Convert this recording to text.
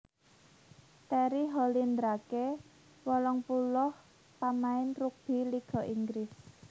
Terry Hollindrake wolung puluh pamain rugbi Liga Inggris